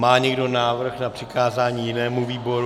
Má někdo návrh na přikázání jinému výboru?